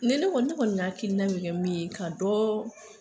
Mɛ ne kɔni ne kɔni hakilina min bɛ min ye ka dɔ